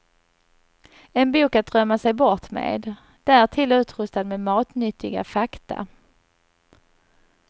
En bok att drömma sig bort med, därtill utrustad med matnyttiga fakta.